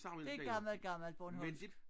Det gammel gammel bornholmsk